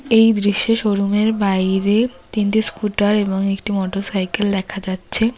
এই দৃশ্যে শোরুমের বাইরে তিনটে স্কুটার এবং একটি মোটর সাইকেল দেখা যাচ্ছে।